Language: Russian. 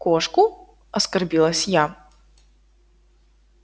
кошку оскорбилась я